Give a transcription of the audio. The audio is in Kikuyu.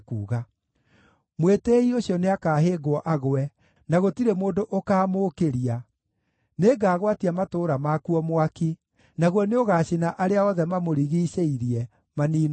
“Mwĩtĩĩi ũcio nĩakahĩngwo agwe, na gũtirĩ mũndũ ũkaamũũkĩria; nĩngagwatia matũũra makuo mwaki, naguo nĩũgaacina arĩa othe mamũrigiicĩirie, maniinwo biũ.”